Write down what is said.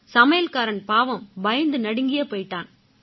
சமையல்காரன் பாவம் பயந்து நடுங்கியே போயிட்டான்